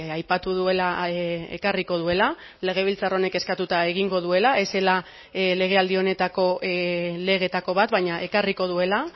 aipatu duela ekarriko duela legebiltzar honek eskatuta egingo duela ez zela legealdi honetako legeetako bat baina ekarriko duela